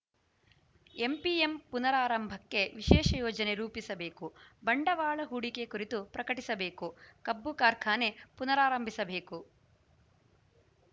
MPM ಪುನರಾರಂಭಕ್ಕೆ ವಿಶೇಷ ಯೋಜನೆ ರೂಪಿಸಬೇಕು ಬಂಡವಾಳ ಹೂಡಿಕೆ ಕುರಿತು ಪ್ರಕಟಿಸಬೇಕು ಕಬ್ಬು ಕಾರ್ಖಾನೆ ಪುನಾರಾರಂಭಿಸಬೇಕು